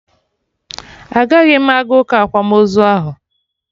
Agaghị m aga ụka akwamozu ahụ